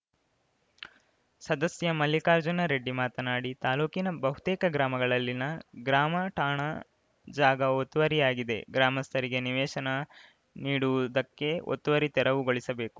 ಸದಸ್ಯ ಮಲ್ಲಿಕಾರ್ಜುನ ರೆಡ್ಡಿ ಮಾತನಾಡಿ ತಾಲೂಕಿನ ಬಹುತೇಕ ಗ್ರಾಮಗಳಲ್ಲಿನ ಗ್ರಾಮಠಾಣ ಜಾಗ ಒತ್ತುವರಿ ಆಗಿದೆ ಗ್ರಾಮಸ್ಥರಿಗೆ ನಿವೇಶನ ನೀಡುವುದಕ್ಕೆ ಒತ್ತುವರಿ ತೆರವುಗೊಳಿಸಬೇಕು